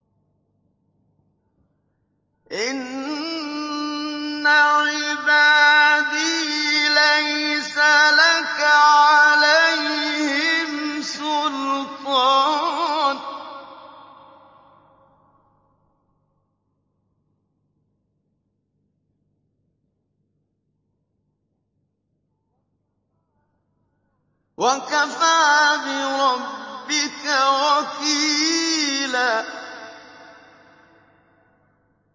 إِنَّ عِبَادِي لَيْسَ لَكَ عَلَيْهِمْ سُلْطَانٌ ۚ وَكَفَىٰ بِرَبِّكَ وَكِيلًا